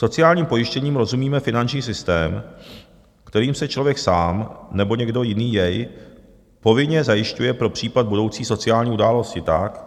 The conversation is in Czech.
Sociálním pojištěním rozumíme finanční systém, kterým se člověk sám nebo někdo jiný jej povinně zajišťuje pro případ budoucí sociální události tak,